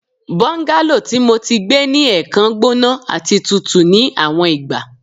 Bungalow ti Mo ti gbe ni ẹẹkan gbona ati tutu ni awọn igba